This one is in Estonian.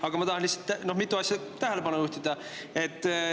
Aga ma tahan lihtsalt mitmele asjale tähelepanu juhtida.